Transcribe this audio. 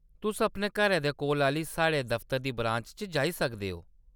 तुस अपने घरै दे कोला आह्‌ली साढ़े दफतरै दी ब्रांच च जाई सकदे ओ।